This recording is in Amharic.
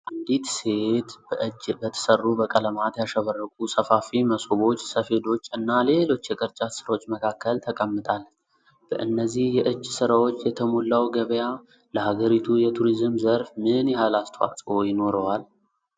አንዲት ሴት በእጅ በተሠሩ በቀለማት ያሸበረቁ ሰፋፊ መሶቦች፣ ሰፌዶች እና ሌሎች የቅርጫት ሥራዎች መካከል ተቀምጣለች። በእነዚህ የእጅ ሥራዎች የተሞላው ገበያ ለሀገሪቱ የቱሪዝም ዘርፍ ምን ያህል አስተዋጽኦ ይኖረዋል?